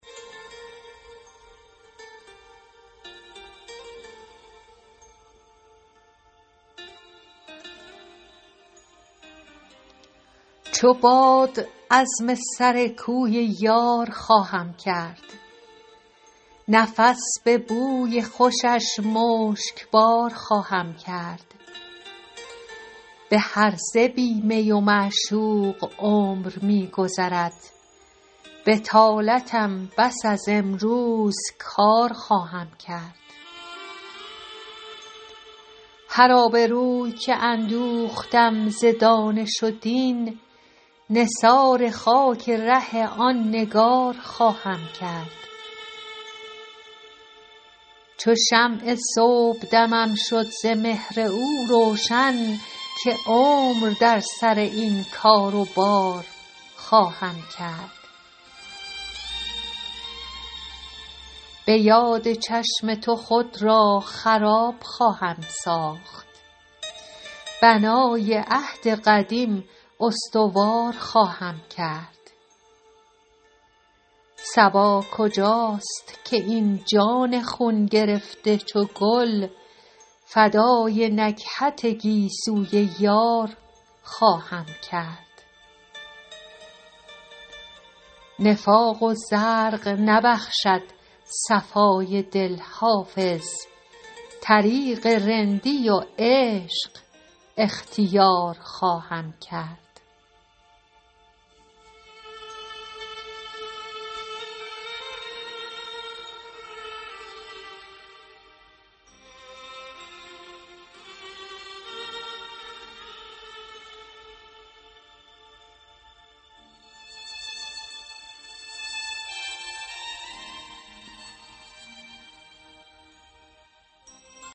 چو باد عزم سر کوی یار خواهم کرد نفس به بوی خوشش مشکبار خواهم کرد به هرزه بی می و معشوق عمر می گذرد بطالتم بس از امروز کار خواهم کرد هر آبروی که اندوختم ز دانش و دین نثار خاک ره آن نگار خواهم کرد چو شمع صبحدمم شد ز مهر او روشن که عمر در سر این کار و بار خواهم کرد به یاد چشم تو خود را خراب خواهم ساخت بنای عهد قدیم استوار خواهم کرد صبا کجاست که این جان خون گرفته چو گل فدای نکهت گیسوی یار خواهم کرد نفاق و زرق نبخشد صفای دل حافظ طریق رندی و عشق اختیار خواهم کرد